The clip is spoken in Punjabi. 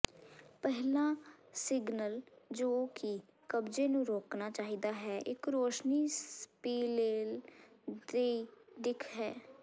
ਪਹਿਲਾ ਸਿਗਨਲ ਜੋ ਕਿ ਕਬਜ਼ੇ ਨੂੰ ਰੋਕਣਾ ਚਾਹੀਦਾ ਹੈ ਇੱਕ ਰੋਸ਼ਨੀ ਸਪਿਲੇਲ ਦੀ ਦਿੱਖ ਹੈ